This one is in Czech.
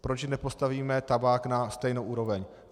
Proč nepostavíme tabák na stejnou úroveň?